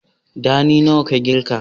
Ɗani nawa ka ƙirga?